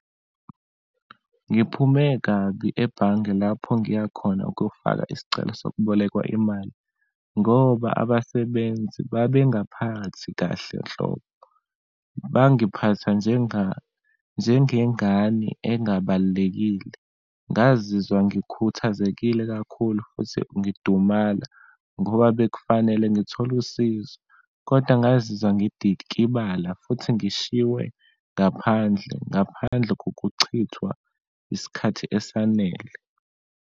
Ngiphume kabi ebhange lapho ngiya khona ukuyofaka isicelo sokubolekwa imali, ngoba abasebenzi babengaphakathi kahle nhlobo, bangiphatha njengengane engabalulekile. Ngazizwa ngikhuthazekile kakhulu futhi ngidumala ngoba bekufanele ngithole usizo, kodwa ngazizwa ngidikibala futhi ngishiywe ngaphandle, ngaphandle kokuchithwa isikhathi esanele.